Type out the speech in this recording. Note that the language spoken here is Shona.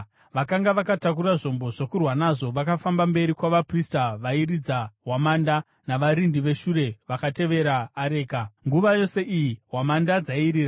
Vakanga vakatakura zvombo zvokurwa nazvo vakafamba mberi kwavaprista vairidza hwamanda, navarindi veshure vakatevera areka. Nguva yose iyi hwamanda dzairira.